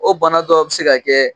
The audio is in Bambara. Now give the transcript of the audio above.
O bana dɔ bi se ka kɛ